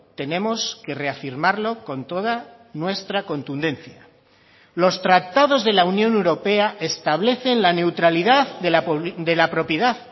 tenemos que reafirmarlo con toda nuestra contundencia los tratados de la unión europea establecen la neutralidad de la propiedad